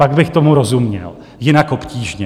Pak bych tomu rozuměl, jinak obtížně.